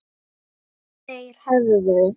Þeir hefðu